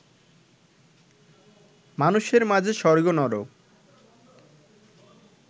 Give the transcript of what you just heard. মানুষের মাঝে স্বর্গ নরক